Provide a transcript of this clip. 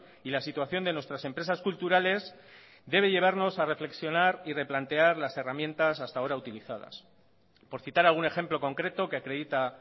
y la situación de nuestras empresas culturales debe llevarnos a reflexionar y replantear las herramientas hasta ahora utilizadas por citar algún ejemplo concreto que acredita